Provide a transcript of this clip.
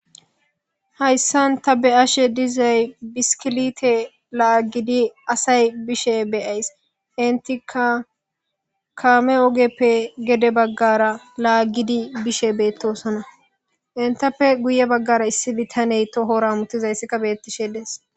Hayssan ta be'ashe dizay biskilite laagidi asay bishe be'ayis. Entika kaame ogeppe gede baggara laagidi bishe beettosona. Entappe guye baggara issi bitaney tohora hametiza issika beettishe dees.